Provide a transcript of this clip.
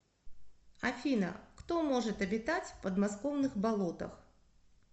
афина кто может обитать в подмосковных болотах